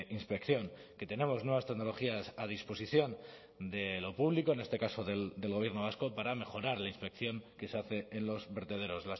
inspección que tenemos nuevas tecnologías a disposición de lo público en este caso del gobierno vasco para mejorar la inspección que se hace en los vertederos